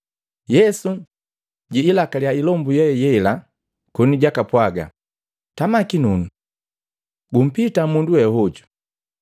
Yesu jiilakaliya ilombu ye yela koni jakapwaga, “Tama kinunu! Gumpita mundu we hojo!”